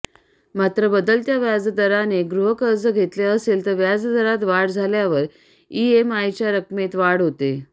मात्र बदलत्या व्याजदाराने गृहकर्ज घेतलं असेल तर व्याजदरात वाढ झाल्यावर ईएमआयच्या रकमेत वाढ होते